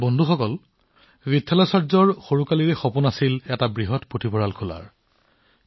বন্ধুসকল বিথালাচাৰ্যজীৰ সৰুৰে পৰা এটা ডাঙৰ পুথিভঁৰাল খোলাৰ ইচ্ছা আছিল